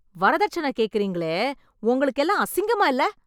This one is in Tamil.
வரதட்சண கேக்கறீங்களே உங்களுக்கு எல்லாம் அசிங்கமா இல்ல.